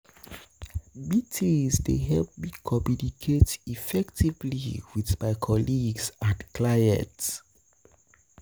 Meetings dey help me communicate effectively with my colleagues and clients.